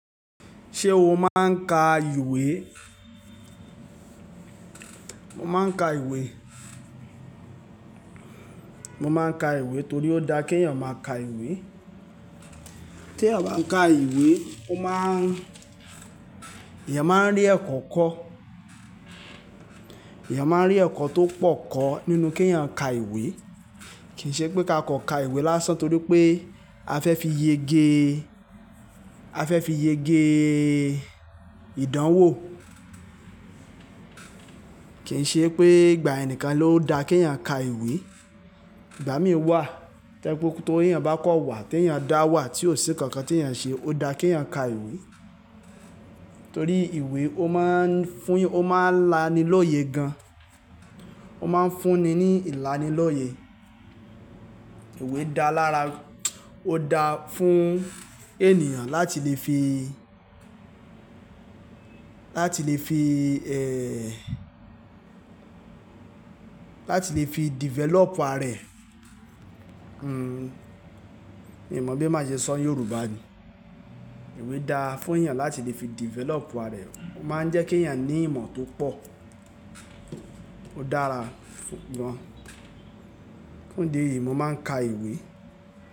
Ṣé o máa ń ka ìwé? Mo máa ń ka ìwé. Mo máa ń ka ìwé torí ó da kí èèyàn máa ka ìwé. Tí èèyàn bá ń ka ìwé, ó máa ń-- èèyàn máa ń rí ẹ̀kọ́ kọ́. Ẹ̀yàn máa ń rí ẹ̀kọ́ tó pọ̀ kọ́ nínú kí you èyàn ka ìwé. Kì ṣe pé ká kọ̀ ka ìwé lásán torí pé a fẹ́ fi yege, a fẹ́ fi yege ìdánwò. Kì í ṣe pé ìgbà ẹnìkan ló da kí èèyàn ka ìwé. Ìgbà mí wà, tẹ́ pé kí tó èèyàn bá kọ wà, tí èèyàn dá wà tí ó sì kankan tí èèyàn ṣe, ó da kí èèyàn ka ìwé. Torí ìwé ó máa ń fún y-- ó máa ń lani lóye gan. Ó máa ń fún ni ní ìlanilóye. Ìwé dá lára, ó da fún ènìyàn láti lè fi, láti lè fi eeh, láti lè fi develop ara ẹ̀. Hmm, mi mọ̀ bí màá ṣe sọ́ Yorùbá ni. Ìwé dá fún èèyàn láti lè fi develop ara rẹ̀. Ó máa ń jẹ́ kí èèyàn ní ìmọ̀ tó pọ̀. Ó dára fú--- gọn. Fún ìdí èyí, mo máa ń ka ìwé.